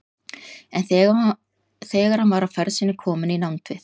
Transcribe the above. En þegar hann var á ferð sinni kominn í nánd við